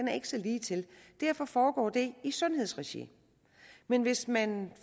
er ikke så ligetil derfor foregår det i sundhedsregi men hvis man